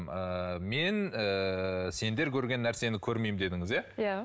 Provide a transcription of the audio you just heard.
ыыы мен ыыы сендер көрген нәрсені көрмеймін дедіңіз иә иә